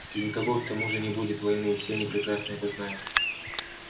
и никакой к тому же не будет войны и все они прекрасно это знают